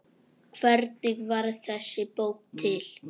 Hvernig varð þessi bók til?